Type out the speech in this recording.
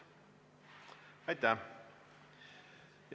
Aitäh!